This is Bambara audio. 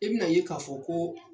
I bina a ye k'a fɔ ko